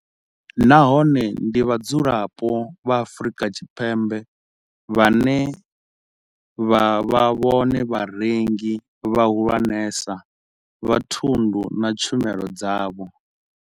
Nahone ndi vhadzulapo vha Afrika Tshipembe vhane vha vha vhone vharengi vhahulwanesa vha thundu na tshumelo dzavho.